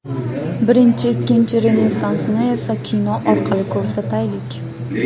Birinchi, ikkinchi Renessansni esa kino orqali ko‘rsataylik.